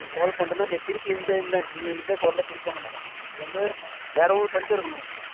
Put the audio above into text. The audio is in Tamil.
call பண்றேன்னா திருப்பி இந்த இந்த இதே call ல திருப்பி பண்ண மாட்டேன் நான் இது வந்து வேறவங்களுக்கு பண்ணிக்கிட்டே இருக்கணும்